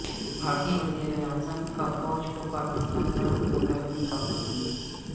بھارتی وزیراعظم کا فوج کو پاکستان پر حملہ کرنے کا حکم